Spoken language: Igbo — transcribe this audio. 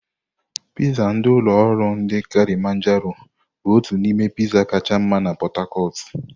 Piizzá ndi ulo oru ndi Kilimajaro bụ otu n'ime Piizzá kacha mma na Pot-tacotu.